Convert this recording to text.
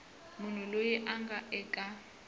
munhu loyi a nga eka